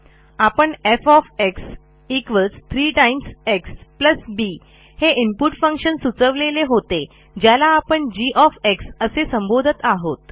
आपण F 3 X B हे input function सुचवलेले होते ज्याला आपणg असे संबोधत आहोत